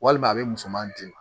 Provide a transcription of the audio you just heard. Walima a bɛ musoman di